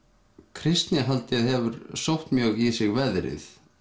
kristnihaldið hefur sótt mjög í sig veðrið